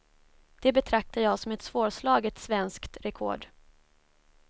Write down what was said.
Det betraktar jag som ett svårslaget svenskt rekord.